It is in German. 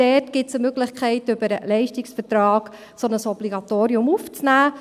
Dort gibt es eine Möglichkeit, über den Leistungsvertrag ein solches Obligatorium aufzunehmen.